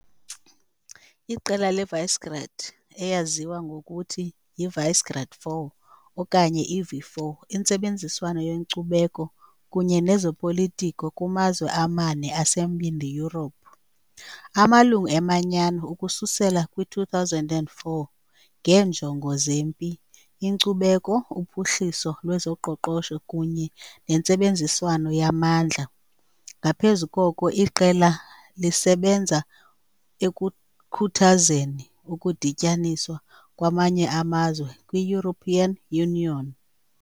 Iqela leVisegrád, eyaziwa nangokuthi Visegrád 4 okanye i-V4, intsebenziswano yenkcubeko kunye nezopolitiko kumazwe amane aseMbindi Yurophu - amalungu eManyano ukususela kwi-2004 - ngeenjongo zempi, inkcubeko, uphuhliso lwezoqoqosho kunye nentsebenziswano yamandla, ngaphezu koko, iqela lisebenza ekukhuthazeni ukudityaniswa kwamanye amazwe kwi- European Union.